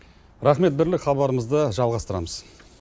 рақмет бірлік хабарымызды жалғастырамыз